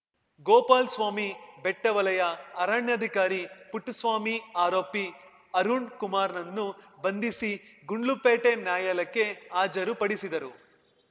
ಗೋಪಾಲ್ ಸ್ವಾಮಿ ಬೆಟ್ಟವಲಯ ಅರಣ್ಯಾಧಿಕಾರಿ ಪುಟ್ಟಸ್ವಾಮಿ ಆರೋಪಿ ಅರುಣ್‌ ಕುಮಾರ್‌ನನ್ನು ಬಂಧಿಸಿ ಗುಂಡ್ಲುಪೇಟೆ ನ್ಯಾಯಾಲಯಕ್ಕೆ ಹಾಜರು ಪಡಿಸಿದರು